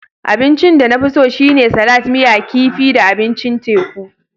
Abincin da na fi so shine salat, miya kifi da abincin teku.